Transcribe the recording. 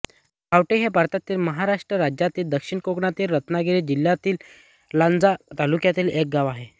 खावडी हे भारतातील महाराष्ट्र राज्यातील दक्षिण कोकणातील रत्नागिरी जिल्ह्यातील लांजा तालुक्यातील एक गाव आहे